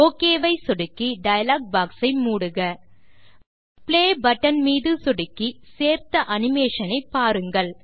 okay ஐ சொடுக்கி dialog box ஐ மூடுக பிளே பட்டன் மீது சொடுக்கி சேர்த்த அனிமேஷன் ஐ பாருங்கள்